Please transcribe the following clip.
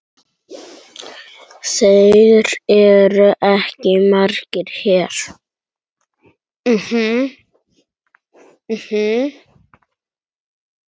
Þeir eru ekki margir hér.